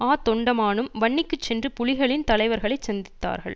ஆ தொண்டமானும் வன்னிக்கு சென்று புலிகளின் தலைவர்களைச் சந்தித்தார்கள்